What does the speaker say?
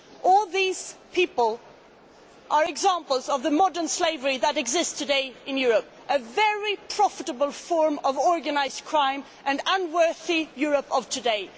All these people are examples of the modern slavery that exists today in Europe a very profitable form of organised crime and unworthy of Europe today.